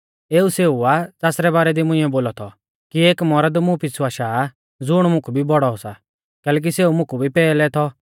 एऊ सेऊ आ ज़ासरै बारै दी मुंइऐ बोलौ थौ कि एक मौरद मुं पिछ़ु आशा आ ज़ुण मुकु भी बौड़ौ सा कैलैकि सेऊ मुकु भी पैहलै थौ